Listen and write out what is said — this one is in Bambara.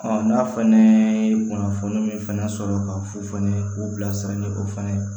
n'a fana ye kunnafoni min fana sɔrɔ ka fufunu k'u bilasira ni o fana ye